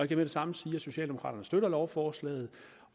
det samme sige at socialdemokraterne støtter lovforslaget